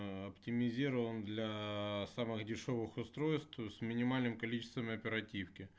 оптимизирован для самых дешёвых устройств с минимальным количеством оперативки